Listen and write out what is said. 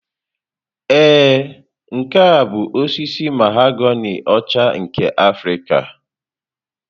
Ee, nke a bụ osisi mahoganị ọcha nke Afrịka.